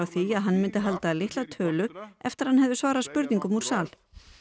því að hann myndi halda litla tölu eftir að hann hefði svarað spurningum úr sal